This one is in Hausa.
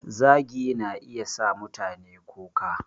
Zagi na iya sa mutane kuka